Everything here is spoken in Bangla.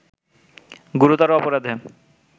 গুরুতর অপরাধে